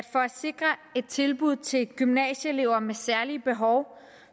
for at sikre et tilbud til gymnasieelever med særlige behov